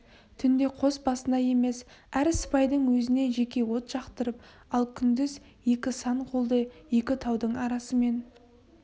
түнде қос басына емес әр сыпайдың өзіне жеке от жақтырып ал күндіз екі сан қолды екі таудың арасымен